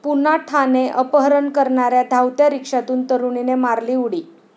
पुन्हा ठाणे!, अपहरण करणाऱ्या धावत्या रिक्षातून तरुणीने मारली उडी